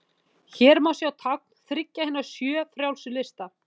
Hér má sjá tákn þriggja hinna sjö frjálsu lista.